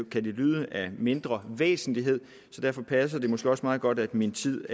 kan det lyde mindre væsentligt så derfor passer det måske også meget godt at min tid